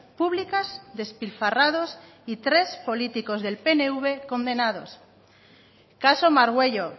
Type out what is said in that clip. públicas despilfarrados y tres políticos del pnv condenados caso margüello